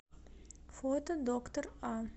фото доктор а